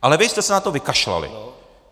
Ale vy jste se na to vykašlali.